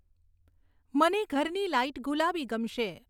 મને ઘરની લાઈટ ગુલાબી ગમશે